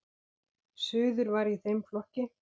Suður var í þeim flokki.